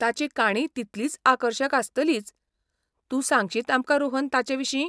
ताची काणीय तितलीच आकर्शक आसतलीच, तूं सांगशीत आमकां रोहन ताचेविशीं?